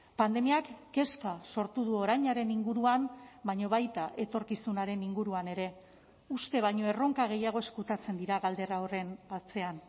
pandemiak kezka sortu du orainaren inguruan baina baita etorkizunaren inguruan ere uste baino erronka gehiago ezkutatzen dira galdera horren atzean